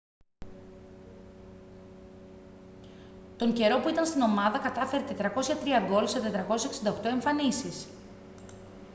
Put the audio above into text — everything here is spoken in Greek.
τον καιρό που ήταν στην ομάδα κατάφερε 403 γκολ σε 468 εμφανίσεις